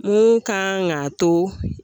Mun kan k'a to